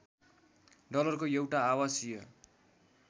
डलरको एउटा आवासीय